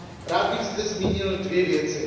Rád bych zde zmínil dvě věci.